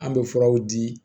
An bɛ furaw di